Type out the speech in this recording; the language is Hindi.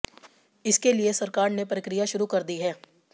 इसके लिए सरकार ने प्रक्रिया शुरू कर दी है